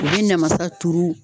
U bɛ namasa turu